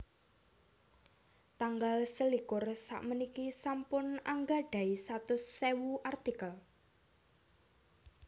Tanggal selikur sapuniki sampun anggadhahi satus ewu artikel